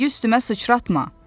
Rəngi üstümə sıçratma.